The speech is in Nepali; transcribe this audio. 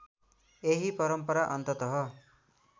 यही परम्परा अन्ततः